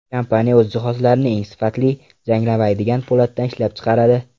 Kompaniya o‘z jihozlarini eng sifatli, zanglamaydigan po‘latdan ishlab chiqaradi.